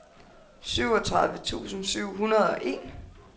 syvogtredive tusind syv hundrede og en